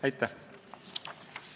Aitäh!